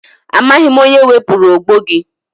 Amaghị m onye wepụrụ ogbo gị.